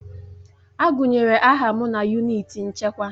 Agụnyere aha m na yunịti nchekwa.